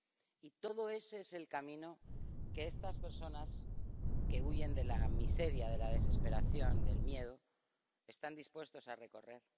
Y ese es el camino que estas personas que huyen de la miseria, de la desesperación, del miedo, están dispuestas a recorrer.